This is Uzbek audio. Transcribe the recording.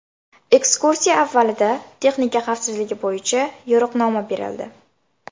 Ekskursiya avvalida texnika xavfsizligi bo‘yicha yo‘riqnoma berildi.